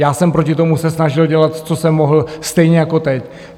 Já jsem proti tomu se snažil dělat, co jsem mohl, stejně jako teď.